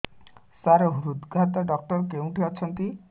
ସାର ହୃଦଘାତ ଡକ୍ଟର କେଉଁଠି ଅଛନ୍ତି